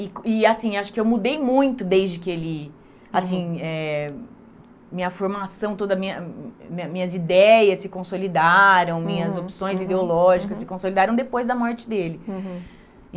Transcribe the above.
E e assim acho que eu mudei muito desde que ele... assim eh Minha formação toda, minha minhas ideias se consolidaram, minhas opções ideológicas se consolidaram depois da morte dele. Uhum.